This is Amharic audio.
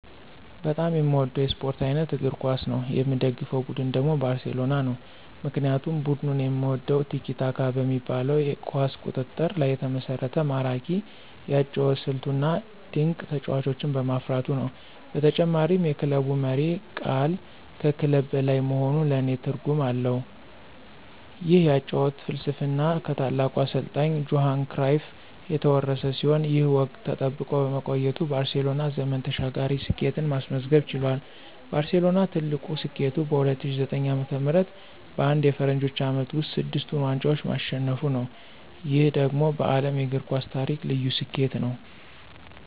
በጣም የምወደው የስፖርት አይነት እግር ኳስ ነው። የምደግፈው ቡድን ደግሞ ባርሴሎና ነው። ምክንያቱም ቡድኑን የምወደው "ቲኪ-ታካ" በሚባለው የኳስ ቁጥጥር ላይ የተመሰረተ ማራኪ የአጨዋወት ስልቱ፣ እና ድንቅ ተጫዋቾችን በማፍራቱ ነው። በተጨማሪም የክለቡ መሪ ቃል ከክለብ በላይ መሆኑ ለኔ ልዩ ትርጉም አለው። ይህ የአጨዋወት ፍልስፍና ከታላቁ አሰልጣኝ ጆሃን ክራይፍ የተወረሰ ሲሆን፣ ይህ ወግ ተጠብቆ በመቆየቱ ባርሴሎና ዘመን ተሻጋሪ ስኬትን ማስመዝገብ ችሏል። ባርሴሎና ትልቁ ስኬቱ በ2009 ዓ.ም. በአንድ የፈረንጆቹ ዓመት ውስጥ ስድስቱን ዋንጫዎች ማሸነፉ ነው። ይህ ደግሞ በዓለም የእግር ኳስ ታሪክ ልዩ ስኬት ነው።